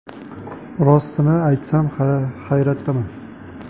Rostini aytsam, hayratdaman.